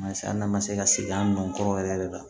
Mansin an' ma se ka sigi an nɔ kɔrɔ yɛrɛ yɛrɛ la